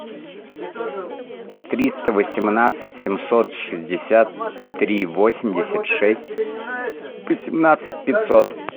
триста восемнадцать семьсот шестьдесят три восемьдесят шесть восемнадцать пятьсот